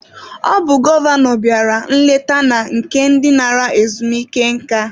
Ọ bụ gọvanọ bịara nleta na nke ndị nara ezumike nka.